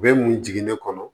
Bɛɛ mun jiginnen kɔnɔ